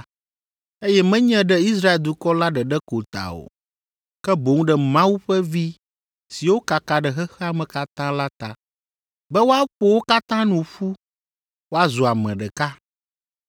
eye menye ɖe Israel dukɔ la ɖeɖe ko ta o, ke boŋ ɖe Mawu ƒe vi siwo kaka ɖe xexea me katã la ta, be woaƒo wo katã nu ƒu woazu ame ɖeka.